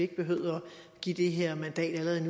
behøver at give det her mandat